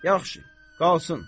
Yaxşı, qalsın.